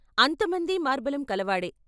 అంత మందీ మార్బలం కలవాడే.